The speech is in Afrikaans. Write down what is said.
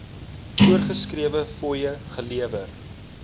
voorgeskrewe fooie gelewer